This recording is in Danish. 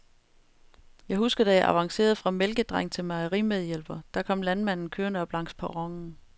Jeg husker, da jeg avancerede fra mælkedreng til mejerimedhjælper, da kom landmanden kørende op langs perronen.